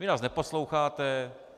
Vy nás neposloucháte.